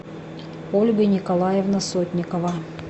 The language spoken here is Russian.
ольга николаевна сотникова